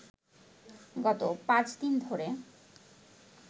গত পাঁচদিন ধরে